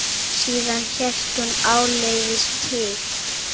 Síðan hélt hún áleiðis til